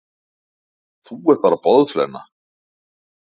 Þú ert bara boðflenna.